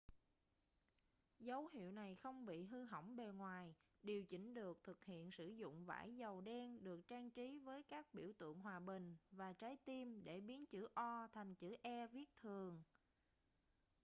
dấu hiệu này không bị hư hỏng bề ngoài điều chỉnh được thực hiện sử dụng vải dầu đen được trang trí với các biểu tượng hòa bình và trái tim để biến chữ o thành chữ e viết thường